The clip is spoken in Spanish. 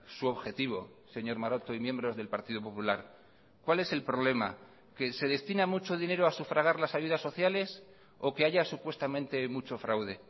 su objetivo señor maroto y miembros del partido popular cuál es el problema que se destina mucho dinero a sufragar las ayudas sociales o que haya supuestamente mucho fraude